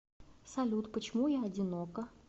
салют почему я одинока